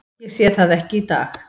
Ég sé það ekki í dag.